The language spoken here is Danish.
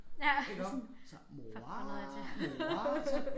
Iggå så mor mor og så